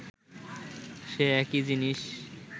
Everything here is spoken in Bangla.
সেই একই জিনিস